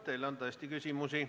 Teile on tõesti küsimusi.